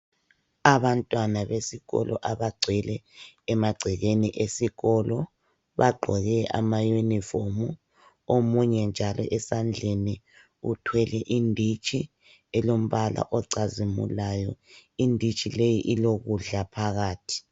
Abantwana besikolo abagcwele emagcekeni esikolo. Bagqoke amayunifomu omunye njalo esandleni uthwele inditshi elombala ocazimulayo. Inditshi leyi ilokudla phakathi.